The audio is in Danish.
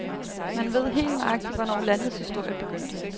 Man ved helt nøjagtigt, hvornår landets historie begyndte.